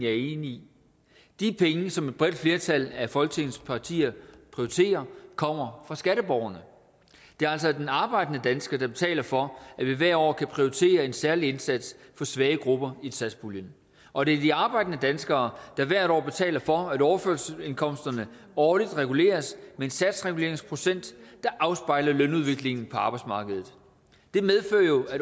er enig i de penge som et bredt flertal af folketingets partier prioriterer kommer fra skatteborgerne det er altså den arbejdende dansker der betaler for at vi hvert år kan prioritere en særlig indsats for svage grupper i satspuljen og det er de arbejdende danskere der hvert år betaler for at overførselsindkomsterne årligt reguleres med en satsreguleringsprocent der afspejler lønudviklingen på arbejdsmarkedet det medfører jo at